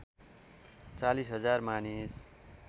४० हजार मानिस